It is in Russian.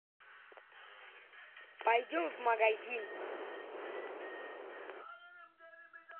пойдем в магазин